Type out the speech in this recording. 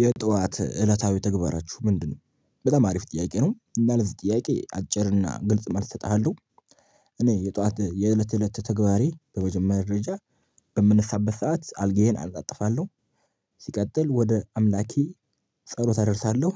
የጧት እለታዊ ተግባራችሁ ምንድነው? በጣም አሪፍ ጥያቄ ነው እና ለዚህ ጥያቄ አጭር እና ግልጽ መልስ እሰጥሃለሁ። እኔ የጥኋት የእለት ተእለት ተግባሬ በመጀመሪያ ደረጃ በምንነሳበት ሰዓት አልጋዬን አነጣጥፋለሁ። ሲቀጥል ወደ አምላኬ ጸሎት አደርሳለሁ።